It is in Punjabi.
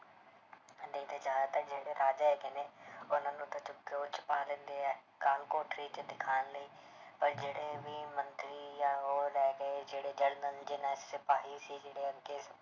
ਜ਼ਿਆਦਾਤਰ ਜਿਹੜੇ ਰਾਜਾ ਹੈਗੇ ਨੇ ਉਹਨੂੰ ਤਾਂ ਚੁੱਕ ਕੇ ਉਹ 'ਚ ਪਾ ਦਿੰਦੇ ਹੈ ਕਾਲ ਕੋਠੜੀ 'ਚ ਦਿਖਾਉਣ ਲਈ ਪਰ ਜਿਹੜੇ ਵੀ ਮੰਤਰੀ ਜਾਂ ਉਹ ਰਹਿ ਗਏ ਜਿਹੜੇ ਸਿਪਾਹੀ ਸੀ ਜਿਹੜੇ ਅੱਗੇ